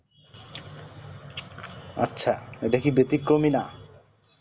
আচ্ছা ইটা কি বেতিক্রমি না